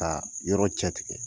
yɔrɔ cɛ tigɛ